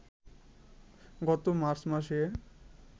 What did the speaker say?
গত মার্চ মাসে